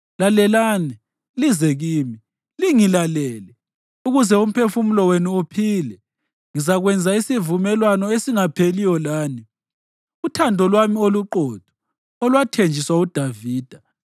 Lalelani, lize kimi; lingilalele ukuze umphefumulo wenu uphile. Ngizakwenza isivumelwano esingapheliyo lani, uthando lwami oluqotho olwathenjiswa uDavida.